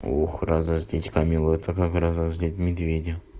ох разозлить камилу это как разозлить медведя